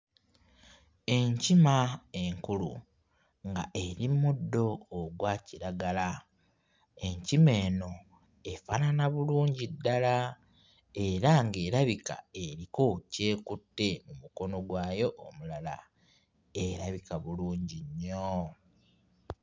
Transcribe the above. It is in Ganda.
Enkima enkulu ng'eri mu muddo ogwakiragala. Enkima eno efaanana bulungi ddala era ng'erabika eriko ky'akutte mu mukono gwayo omulala. Erabika bulungi nnyo.